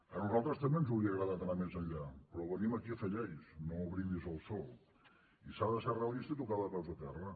a nosaltres també ens hauria agradat anar més enllà però venim aquí a fer lleis no brindis al sol i s’ha de ser realista i tocar de peus a terra